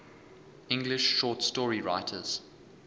english short story writers